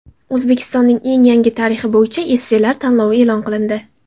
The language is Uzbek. O‘zbekistonning eng yangi tarixi bo‘yicha esselar tanlovi e’lon qilindi.